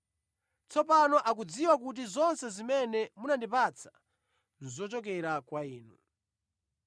Tsopano akudziwa kuti zonse zimene munandipatsa nʼzochokera kwa Inu.